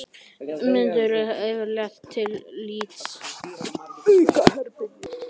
Ummyndun nær yfirleitt til lítils hluta bergs.